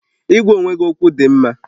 Ịgwa onwe gị okwu dị mma